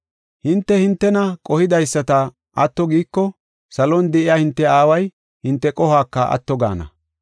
“Hinte hintena qohidaysata atto giiko, salon de7iya hinte Aaway hinte qohuwaka atto gaana.